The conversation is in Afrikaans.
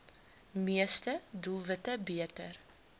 meeste doelwitte beter